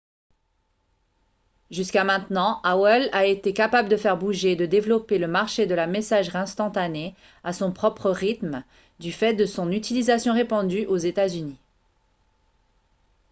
jusqu'à maintenant aol a été capable de faire bouger et de développer le marché de la messagerie instantanée à son propre rythme du fait de son utilisation répandue aux états-unis